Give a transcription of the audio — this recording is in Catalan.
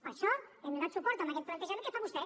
per això hem donat suport a aquest plantejament que fa vostè